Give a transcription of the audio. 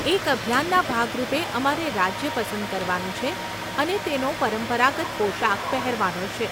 એક અભિયાનના ભાગરૂપે, અમારે રાજ્ય પસંદ કરવાનું છે અને તેનો પરંપરાગત પોશાક પહેરવાનો છે.